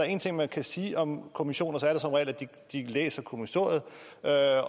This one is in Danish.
en ting man kan sige om kommissioner er det som regel at de læser kommissoriet